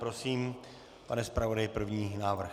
Prosím, pane zpravodaji, první návrh.